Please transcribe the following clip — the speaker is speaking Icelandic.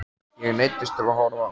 Ég neyddist til að horfa á.